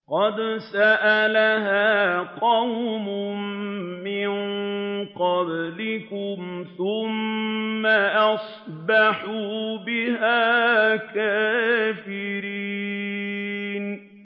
قَدْ سَأَلَهَا قَوْمٌ مِّن قَبْلِكُمْ ثُمَّ أَصْبَحُوا بِهَا كَافِرِينَ